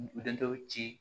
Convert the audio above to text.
Den dɔw ci